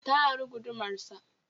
Ta ari gudumar sa.